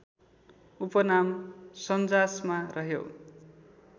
उपनाम सन्जासमा रह्यो